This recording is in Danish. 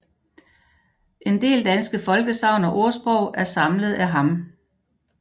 En del danske folkesagn og ordsprog er samlet af ham